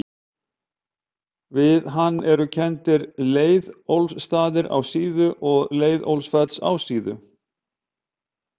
Við hann eru kenndir Leiðólfsstaðir á Síðu og Leiðólfsfell á Síðu.